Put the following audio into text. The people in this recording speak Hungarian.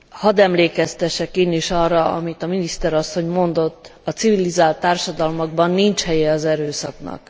Hadd emlékeztessek én is arra, amit a miniszter asszony mondott a civilizált társadalmakban nincs helye az erőszaknak.